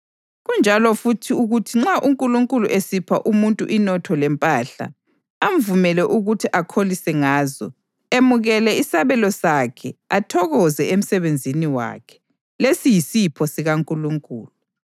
Kunjalo futhi ukuthi nxa uNkulunkulu esipha umuntu inotho lempahla, amvumele ukuthi akholise ngazo, emukele isabelo sakhe athokoze emsebenzini wakhe, lesi yisipho sikaNkulunkulu.